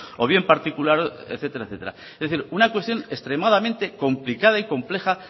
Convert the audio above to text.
o bien particular etcétera etcétera es decir una cuestión extremadamente complicada y compleja